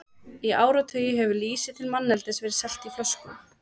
Í áratugi hefur lýsi til manneldis verið selt á flöskum.